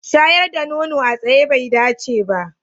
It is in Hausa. Shayar da nono a tsaye bai dace ba.